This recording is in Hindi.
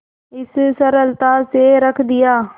इस सरलता से रख लिया